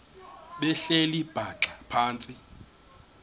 behleli bhaxa phantsi